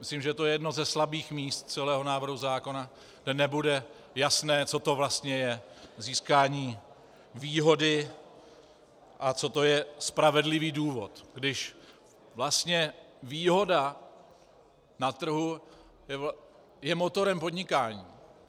Myslím, že to je jedno ze slabých míst celého návrhu zákona, kdy nebude jasné, co to vlastně je získání výhody a co to je spravedlivý důvod, když vlastně výhoda na trhu je motorem podnikání.